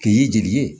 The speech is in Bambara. K'i y'i jeli ye